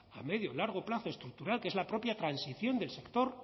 a medio y largo plazo estructural que es la propia transición del sector